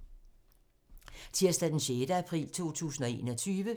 Tirsdag d. 6. april 2021